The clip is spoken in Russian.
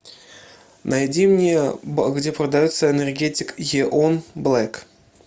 найди мне где продается энергетик еон блэк